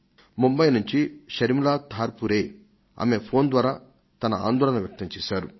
ముంబై నుంచి శర్మిలా ధార్పురే ఆమె ఫోన్ ద్వారా తన ఆందోళన వ్యక్తం చేశారు